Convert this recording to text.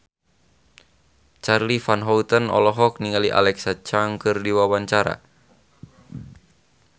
Charly Van Houten olohok ningali Alexa Chung keur diwawancara